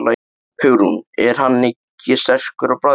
Hugrún: Er hann ekkert sterkur á bragðið?